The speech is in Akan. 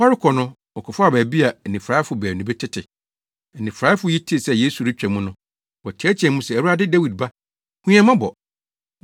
Wɔrekɔ no, wɔkɔfaa baabi a anifuraefo baanu bi tete. Anifuraefo yi tee sɛ Yesu retwa mu no, wɔteɛteɛɛ mu se, “Awurade, Dawid Ba, hu yɛn mmɔbɔ!”